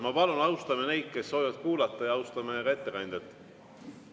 Ma palun, austame neid, kes soovivad kuulata, ja austame ettekandjat.